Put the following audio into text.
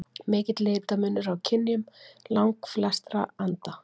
Mikill litamunur er á kynjum langflestra anda.